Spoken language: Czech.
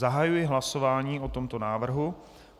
Zahajuji hlasování o tomto návrhu.